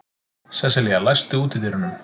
Sesselía, læstu útidyrunum.